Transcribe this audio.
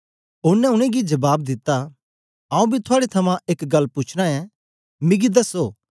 ओनें उनेंगी जबाब दित्ता आऊँ बी थुआड़े थमां एक गल्ल पूछना ऐं मिगी दसो